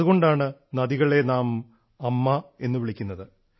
അതുകൊണ്ടാണ് നദികളെ നാം അമ്മ എന്ന് വിളിക്കുന്നത്